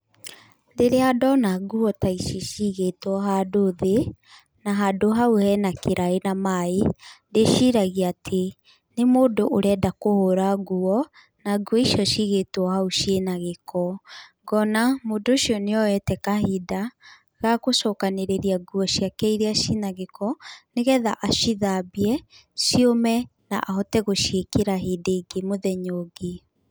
Rĩrĩa ndona nguo ta ici cigĩtwo handũ thĩ, na handũ hau hena kĩraĩ na maĩ, ndĩciragia atĩ nĩ mũndũ ũrenda kũhũra nguo, na nguo icio ciigĩtwo hau ciĩna gĩko ngona mũndũ ũcio nĩ oyete kahinda ga gũcokanĩrĩria nguo ciake irĩa cina gĩko, nĩ getha acithambie ciũme na ahote gũciĩkĩra hĩndĩ ĩngĩ mũthenya ũngĩ.